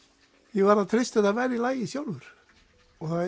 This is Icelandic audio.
ég varð að treysta að það væri í lagi sjálfur